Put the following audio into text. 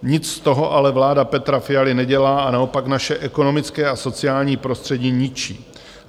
Nic z toho ale vláda Petra Fialy nedělá a naopak naše ekonomické a sociální prostředí ničí.